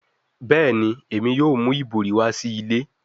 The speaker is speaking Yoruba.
Bẹẹni, Emi yoo mu ibori wa si ile